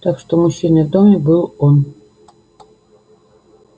так что мужчиной в доме был он